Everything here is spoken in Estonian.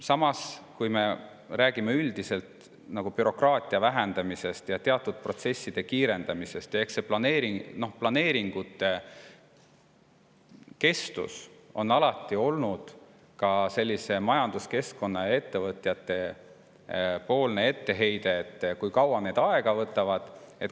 Samas, kui me räägime üldiselt bürokraatia vähendamisest ja teatud protsesside kiirendamisest, siis planeeringute pikk kestus on alati olnud majanduskeskkonnas ettevõtjate etteheide, et miks need nii kaua aega võtavad.